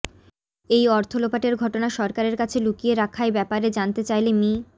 এই অর্থ লোপাটের ঘটনা সরকারের কাছে লুকিয়ে রাখায় ব্যাপারে জানতে চাইলে মি